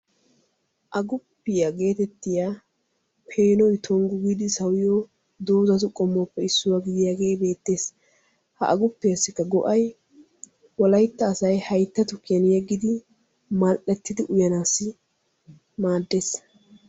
"Aguppiyaa" geetettiya peenoy tonggu giidi sawiyo doozatu qommuwappe issuwaa gidiyaagee beettes. Ha aguppiyaassikka go"ay wolaytta asay haytta tukkiyan yeggidi mal"ettidi uyanaassi maaddees.